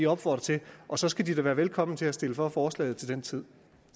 opfordret til og så skal de da være velkomne til at stemme for forslaget til den tid